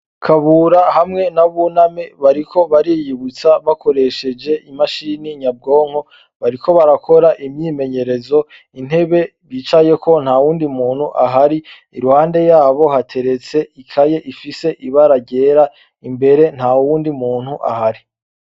Kabura hamwe na buname bariko bariyibutsa bakoresheje imashini nyabwonko bariko barakora imyimenyerezo intebe bicayeko ntawundi muntu ahari iruhande yabo hateretse ikaye ifise ibara ryera imbere ntawundi muntu ahari